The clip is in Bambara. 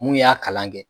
Mun y'a kalan kɛ